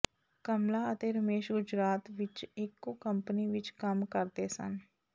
ਕਮਲਾ ਅਤੇ ਰਮੇਸ਼ ਗੁਜਰਾਤ ਵਿਚ ਇਕੋ ਕੰਪਨੀ ਵਿਚ ਕੰਮ ਕਰਦੇ ਸਨ